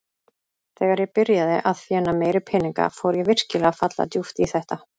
Þegar ég byrjaði að þéna meiri peninga fór ég virkilega að falla djúpt í þetta.